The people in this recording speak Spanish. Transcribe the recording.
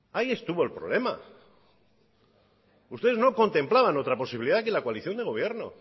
ahí estuvo el problema ustedes no contemplaban otra posibilidad que la coalición de gobierno